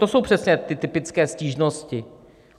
To jsou přece ty typické stížnosti.